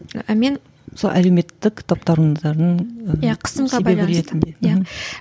і мен сол әлеуметтік таптауырындардың қысымға байланысты иә